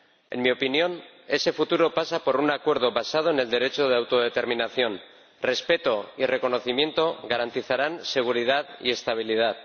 En mi opinión, ese futuro pasa por un acuerdo basado en el derecho de autodeterminación. Respeto y reconocimiento garantizarán seguridad y estabilidad.